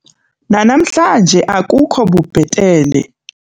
Nanamhlanje akukho bubhetele.